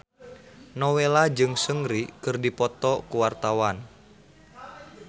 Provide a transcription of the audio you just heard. Nowela jeung Seungri keur dipoto ku wartawan